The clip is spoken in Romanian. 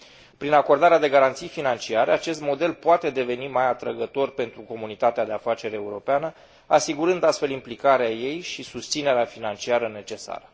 Prin acordarea de garanții financiare, acest model poate deveni mai atrăgător pentru comunitatea de afaceri europeană, asigurând, astfel, implicarea ei și susținerea financiară necesară.